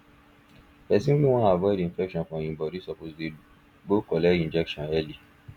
person wey wan avoid infection for em body suppose dey dey go collect injection early